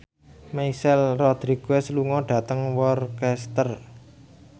Michelle Rodriguez lunga dhateng Worcester